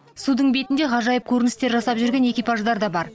судың бетінде ғажайып көріністер жасап жүрген экипаждар да бар